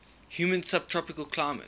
humid subtropical climate